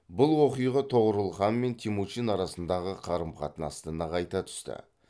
бұл оқиға тоғорыл хан мен темучин арасындағы қарым қатынасты нығайта түсті